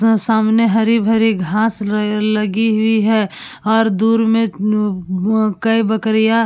हाँ सामने हरी-भरी घास र लगी हुई है और दूर में कई बकरियाँ --